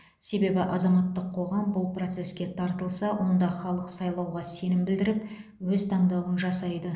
себебі азаматтық қоғам бұл процеске тартылса онда халық сайлауға сенім білдіріп өз таңдауын жасайды